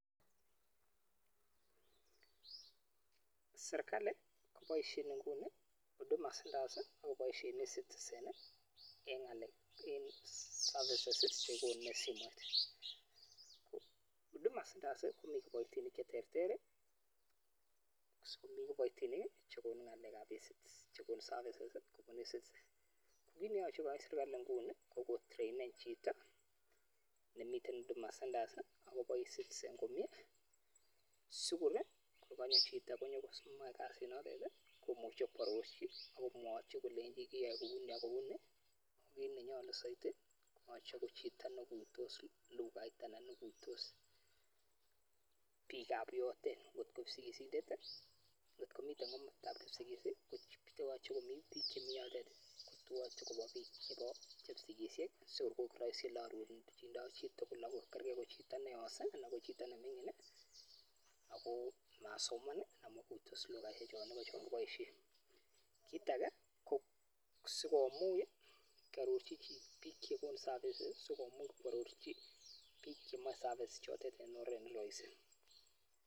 Serikali ko Boise inguni huduma centers ako Boise ecitizen eng services che konu eng huduma centers komii kiboitinik che terter si komii kiboitinik che konu ngalek ab ecitizen che Kono services ko kii neyache koyai serikalit Nguni ko kotrainen chito nemitei huduma centres agoboisei ecitizen komie sikorii korkanyo chito komuche koarorchi akomwachii kolechi kiae kouni ak kouni ko kiit nee nyoluu saidi konyor chito nee igutos lughait ana igutos biik ab nyotok kotko kipsigisindet anan ko mitei komastab kipsigis kobiik che nyache komii nyotok ko kipsigisiek sikor kii arorchi komie kerker ko chito nee nyos anan ko nemining ako masoman kit age sii komuch koarorchi biik chemeche service chotok komie